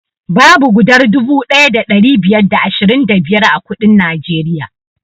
Babu gudar dubu ɗaya da ɗari biyar da ashirin da biyar a kuɗin najeriya